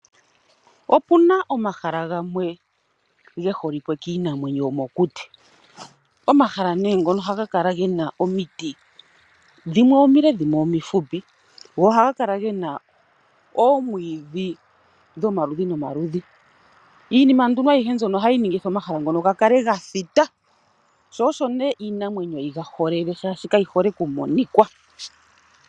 Opuna omahala gamwe ge holikwe kiinamwenyo yomokuti . omahala ngono ohaga kala gena omiti , dhimwe omile, dhimwe omifupi . Ohaga kala gena oomwiidhi dhomaludhi nomaludhi, iinima mbyono ohayi kala yaninga omahala ngoka gakale gathita, osho iinamwenyo yiga holele shaashi kayi hole okumonika.